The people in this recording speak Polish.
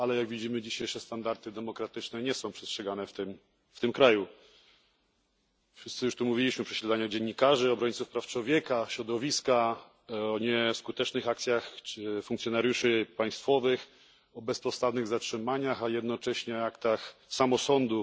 Ale jak widzimy, dzisiejsze standardy demokratyczne nie są przestrzegane w tym kraju. Wszyscy już mówiliśmy o prześladowaniu dziennikarzy, obrońców praw człowieka, środowiska, o nieskutecznych akcjach funkcjonariuszy państwowych, o bezpodstawnych zatrzymaniach, a jednocześnie aktach samosądu.